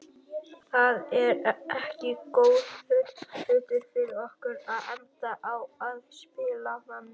Það er ekki góður hlutur fyrir okkur að enda á að spila þannig.